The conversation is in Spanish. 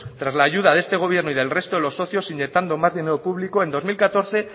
tras la ayuda de este gobierno y del resto de los socios inyectando más dinero público en dos mil catorce